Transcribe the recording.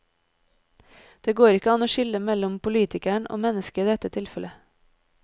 Det går ikke an å skille mellom politikeren og mennesket i dette tilfellet.